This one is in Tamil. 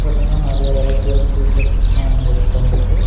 பாத்தீங்னா நெறைய வெரைட்டி ஆஃப் டீசர்ட்லா அங்க தொங்குது.